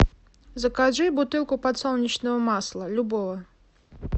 закажи бутылку подсолнечного масла любого